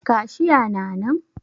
Cashier na nan?